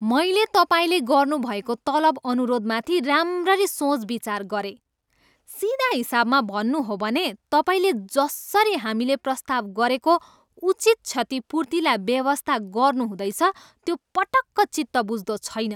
मैले तपाईँले गर्नुभएको तलब अनुरोधमाथि राम्ररी सोचविचार गरेँ। सिधा हिसाबमा भन्नु हो भने तपाईँले जसरी हामीले प्रस्ताव गरेको उचित क्षतिपूर्तिलाई बेवास्ता गर्नुहुँदैछ, त्यो पटक्क चित्तबुझ्दो छैन।